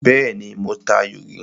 Bẹ́ẹ́nì, mo ta ayò rí.